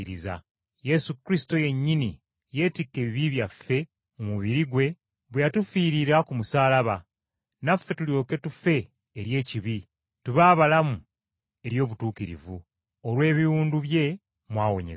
Yesu Kristo yennyini yeetikka ebibi byaffe mu mubiri gwe bwe yatufiirira ku musaalaba, naffe tulyoke tufe eri ekibi, tube abalamu eri obutuukirivu. Olw’ebiwundu bye, muwonyezebbwa.